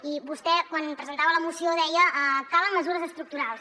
i vostè quan presentava la moció deia calen mesures estructurals